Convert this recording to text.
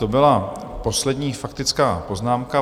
To byla poslední faktická poznámka.